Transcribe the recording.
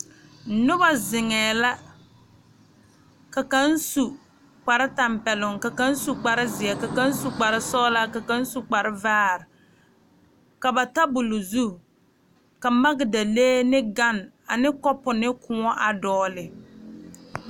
Noba zeŋe la ka kaŋ su kpare tanpɛloŋ, ka kaŋ su ziɛ, ka kaŋ su kpare sɔglɔ ka kaŋ su kpare vaare ka ba tabol zu ka magdalee ne gane ane kopu ne kõɔ a dɔgle.